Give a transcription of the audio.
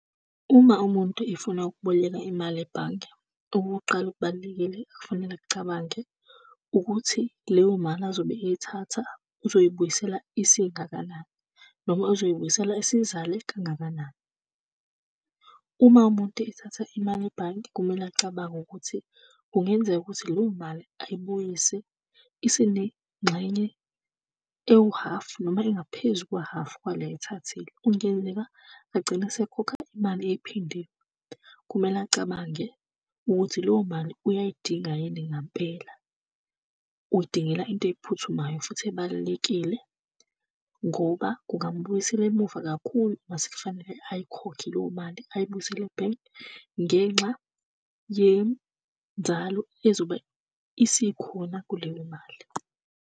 Uma umuntu efuna ukuboleka imali ebhange, okuqala, okubalulekile okufanele akucabange ukuthi, leyo mali azobe eyithatha uzoyibuyisela isingakanani, noma uzoyibuyisela isizale kangakanani. Uma umuntu ethatha imali ebhange, kumele acabange ukuthi kungenzeka ukuthi leyo mali ayibuyise isinengxenye ewuhhafu noma engaphezu kukahhafu wale ayithathile. Kungenzeka agcine esekhokha imali ephindiwe. Kumele acabange ukuthi leyo mali uyayidinga yini ngampela. Uyidingela into ephuthumayo, futhi ebalulekile, ngoba kungamubuyisela emuva kakhulu uma sekufanele ayikhokhe leyo mali ayibuyisele ebhenki ngenxa yenzalo ezobe isikhona kuleyo mali.